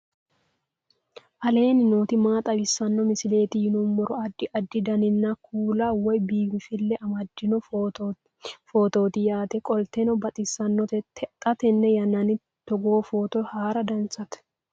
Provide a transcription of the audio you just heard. aleenni nooti maa xawisanno misileeti yinummoro addi addi dananna kuula woy biinfille amaddino footooti yaate qoltenno baxissannote xa tenne yannanni togoo footo haara danchate